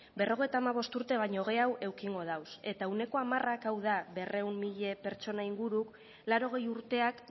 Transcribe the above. berrogeita hamabost urte baino gehiago edukiko dauz eta ehuneko hamarrak hau da berrehun mila pertsona inguru laurogei urteak